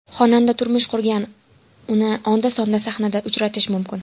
Xonanda turmush qurgan, uni onda-sonda sahnada uchratish mumkin.